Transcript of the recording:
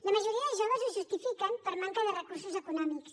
la majoria de joves ho justifiquen per manca de recursos econòmics